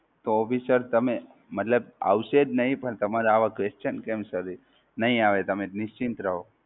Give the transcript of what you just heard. તો ભી Sir તમે, મતલબ આવશે જ નહિ, પણ તમારા આવા Question કેમ , નહિ આવે તમે નિશ્ચિત રહો!